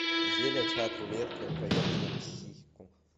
зеля чат рулетка проверка на психику